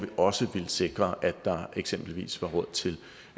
også villet sikre at der eksempelvis var råd til